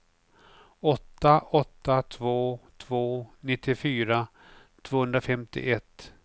åtta åtta två två nittiofyra tvåhundrafemtioett